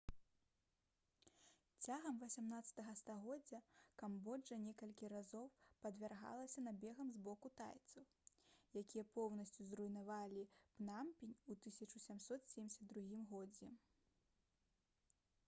цягам 18-га стагоддзя камбоджа некалькі разоў падвяргалася набегам з боку тайцаў якія поўнасцю зруйнавалі пнампень у 1772 годзе